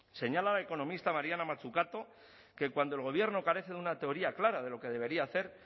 señala la economista mariana mazzucato que cuando el gobierno carece de una teoría clara de lo que debería hacer